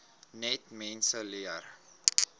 net mense leer